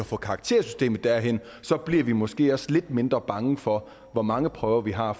få karaktersystemet derhen bliver vi måske også lidt mindre bange for hvor mange prøver vi har